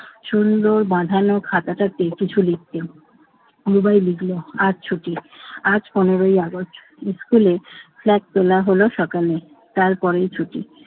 সুন্দর বাধানো খাতাটাতে কিছু লিখতে। রুবাই লিখল আজ ছুটি আজ পনেরোই আগস্ট। স্কুলে flag তোলা হলো সকালে, তারপরেই ছুটি।